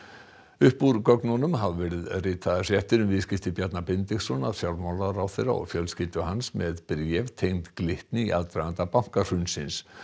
upp úr gögnunum hafa verið ritaðar fréttir um viðskipti Bjarna Benediktssonar fjármálaráðherra og fjölskyldu hans með bréf tengd Glitni í aðdraganda bankahrunsins